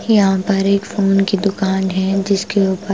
यहां पर एक फोन की दुकान है जिसके ऊपर--